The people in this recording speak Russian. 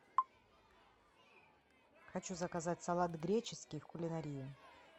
хочу заказать салат греческий в кулинарии